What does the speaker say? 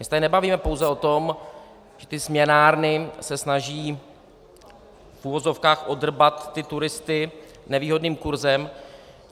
My se tady nebavíme pouze o tom, že ty směnárny se snaží v uvozovkách odrbat ty turisty nevýhodným kurzem.